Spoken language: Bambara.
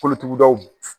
Kolotugudaw